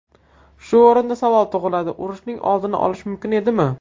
Shu o‘rinda savol tug‘iladi: urushning oldini olish mumkin edimi?